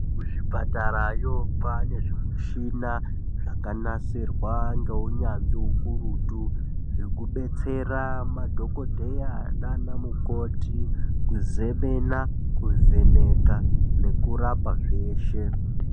Kuzvipatarayo kwaane zvimishina zvakanasirwa ngeunyanzvi hukurutu hwekudetsera madhokodheya nanamukoti kuzemena, kuvheneka ngekurapa zveshe.